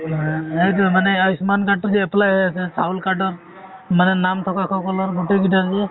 হ সেইটো মানে আয়ুস্মান card টো যে apply হৈ আছে , চাউল card ৰ মানে নাম থকা সকলৰ গোটেই কেইটাৰে